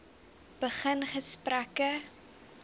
begin gesprekke